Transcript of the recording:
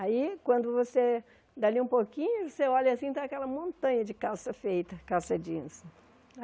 Aí, quando você, dali um pouquinho, você olha assim, está aquela montanha de calça feita, calça jeans.